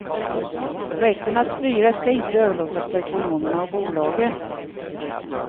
Rätten att styra ska inte överlåtas på ekonomerna och bolagen.